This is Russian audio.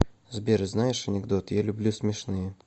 сбер знаешь анекдоты я люблю смешные